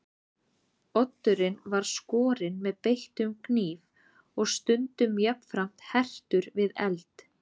Oddurinn var skorinn með beittum knífi og stundum jafnframt hertur við eld.